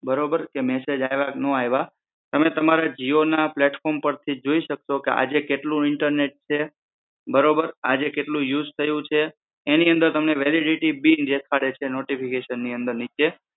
બરોબર કે મેસેજ આઇવા કે નો આઇવા તમે તમારા જીઓ ના પ્લેટફોર્મ પરથી જોઈ શકશો કે આજે કેટલું ઇન્ટરનેટ છે બરોબર, આજે કેટલું યુજ થયું છે એની અંદર તમને વેલિડિટી બી પડે છે નોટિફિકેશનની અંદર નીચે